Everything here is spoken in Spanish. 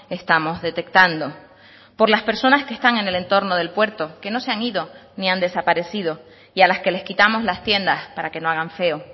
estamos detectando por las personas que están en el entorno del puerto que no se han ido ni han desaparecido y a las que les quitamos las tiendas para que no hagan feo